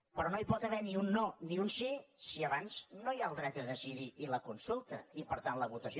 però no hi pot haver ni un no ni un sí si abans no hi ha el dret a decidir i la consulta i per tant la votació